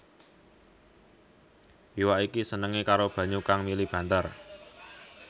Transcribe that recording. Iwak iki senengé karo banyu kang mili banter